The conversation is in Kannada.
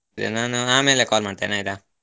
ಸರಿ ನಾನು ಆಮೇಲೆ call ಮಾಡ್ತಿನೆ ಆಯ್ತಾ.